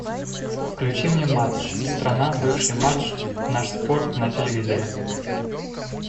включи мне матч страна бывший матч наш спорт на телевизоре